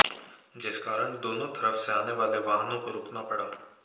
जिस कारण दोनों तरफ से आने वाले वाहनों को रूकना पड़ा